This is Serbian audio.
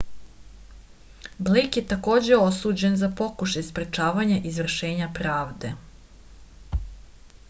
blejk je takođe osuđen za pokušaj sprečavanja izvršenja pravde